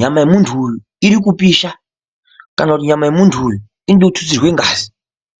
nyama yemuntu uyu iri kupisha kana kuti nyama yemuntu uyu inode kututsirwe ngazi.